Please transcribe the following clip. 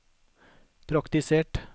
praktisert